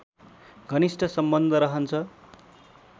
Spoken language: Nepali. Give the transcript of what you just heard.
घनिष्ठ सम्बन्ध रहन्छ